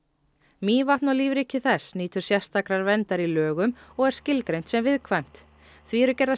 Mývatn og lífríki þess nýtur sérstakrar verndar í lögum og er skilgreint sem viðkvæmt því eru gerðar